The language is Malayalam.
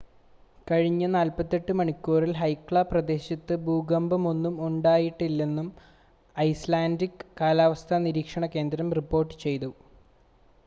കഴിഞ്ഞ 48 മണിക്കൂറിൽ ഹെക്ല പ്രദേശത്ത് ഭൂകമ്പമൊന്നും ഉണ്ടായിട്ടില്ലെന്നും ഐസ്‌ലാൻഡിക് കാലാവസ്ഥാ നിരീക്ഷണ കേന്ദ്രം റിപ്പോർട്ട് ചെയ്യുന്നു